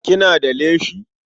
Kina da leshi?